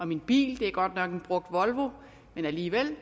min bil det er godt nok en brugt volvo men alligevel